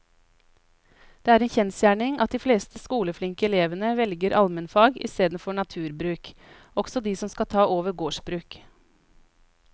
Det er en kjensgjerning at de fleste skoleflinke elevene velger allmennfag i stedet for naturbruk, også de som skal ta over gårdsbruk.